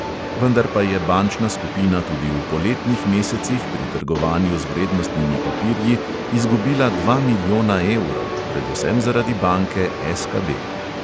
Vendar pa je bančna skupina tudi v poletnih mesecih pri trgovanju z vrednostnimi papirji izgubila dva milijona evrov, predvsem zaradi banke SKB.